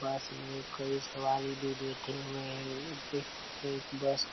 बस मे कई सवारी भी बैठे हुए है और देख सकते है इस बस को--